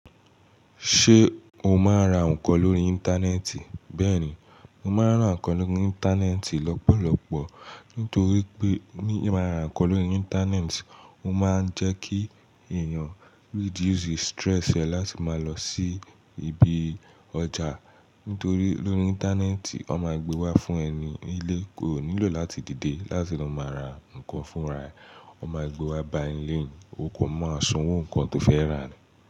Ṣé o máa ń ra nǹkan lórí Íńtánẹ́ẹ̀tì? Bẹ́ẹ̀ni, mo máa ń ra nǹkan lórí íńtánẹ́ẹ̀tì lọ́pọ̀lọpọ̀. Nítorí pé ní máa ra nǹkan lórí Íńtánẹ́ẹ̀tì, ó máa ń jẹ́ kí èèyàn reduce stress ẹ̀ láti máa lọ sí ibi ọjà. Nítorí lórí íńtánẹ́ẹ̀tì, wọ́n máa gbe wá fún ẹ ní nílé, oò nílò láti dìde láti lọ máa ra nǹkan fúnra ẹ. Wọ́n máa gbe wá bá ẹ ńlé ni, o kàn máa sanwó nǹkan tóo fẹ́ rà ni.